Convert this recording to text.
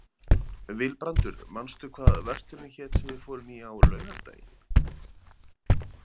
Vilbrandur, manstu hvað verslunin hét sem við fórum í á laugardaginn?